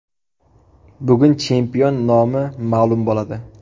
Bugun chempion nomi ma’lum bo‘ladi.